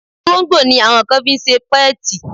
Olóńgbò ni àwọn kan fi ṣe pẹ́ẹ̀tì.